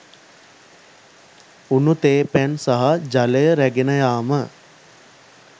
උණු තේ පැන් සහ ජලය රැගෙන යාම